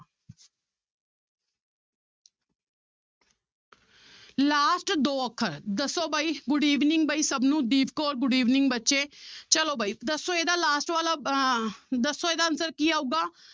Last ਦੋ ਅੱਖਰ ਦੱਸੋ ਬਾਈ good evening ਬਾਈ ਸਭ ਨੂੰ ਦੀਪ ਕੌਰ good evening ਬੱਚੇ ਚਲੋ ਬਾਈ ਦੱਸੋ ਇਹਦਾ last ਵਾਲਾ ਅਹ ਦੱਸੋ ਇਹਦਾ answer ਕੀ ਆਊਗਾ,